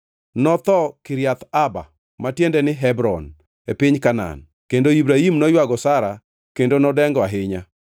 Notho Kiriath Arba (ma tiende ni Hebron) e piny Kanaan, kendo Ibrahim noywago Sara kendo nodengo ahinya.